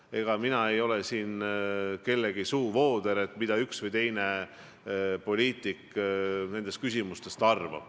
Ega mina ei ole siin kellegi suuvooder, kes räägib, mida üks või teine poliitik nendest küsimustest arvab.